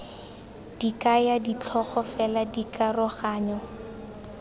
di kaya ditlhogo fela dikaroganyo